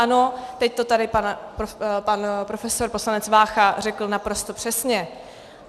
Ano, teď to tady pan profesor poslanec Vácha řekl naprosto přesně.